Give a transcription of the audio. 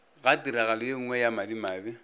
ga tiragalo yenngwe ya madimabe